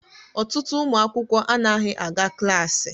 Ọtụtụ ụmụ akwụkwọ anaghị aga klaasị.